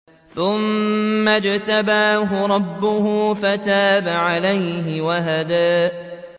ثُمَّ اجْتَبَاهُ رَبُّهُ فَتَابَ عَلَيْهِ وَهَدَىٰ